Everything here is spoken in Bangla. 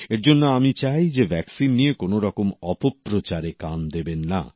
এর জন্য আমি চাই যে ভ্যাকসিন নিয়ে কোনরকম অপপ্রচারে কান দেবেন না